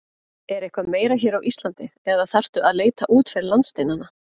Er eitthvað meira hér á Íslandi eða þarftu að leita út fyrir landsteinana?